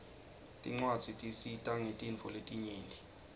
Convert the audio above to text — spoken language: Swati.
tincwadzi tisita ngetintfo letinyenti